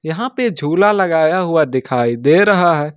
यहां पे झूला लगाया हुआ दिखाई दे रहा है।